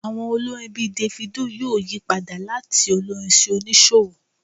Àwọn olórin bíi Davido yóò yí padà láti olórin sí oníṣòwò